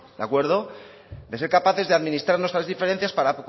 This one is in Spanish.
de acuerdo de ser capaces de administrar nuestras diferencias para